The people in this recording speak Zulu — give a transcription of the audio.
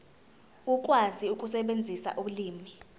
ukwazi ukusebenzisa ulimi